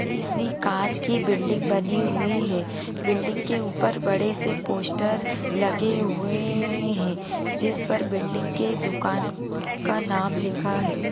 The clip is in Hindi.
बड़ी-सी कांच की बिल्डिंग बनी हुई है| बिल्डिंग के ऊपर बड़े से पोस्टर लगे हुए हैं जिस पर बिल्डिंग के दुकान का नाम लिखा है।